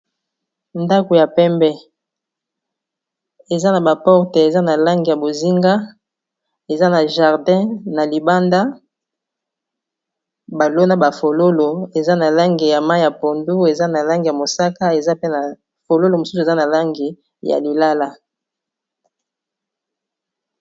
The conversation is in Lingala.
ndako ya pembe eza na baporte eza na langi ya bozinga eza na jardin na libanda balona bafololo eza na langi ya mai ya pondu eza na langi ya mosaka eza pe na fololo mosusu eza na langi ya lilala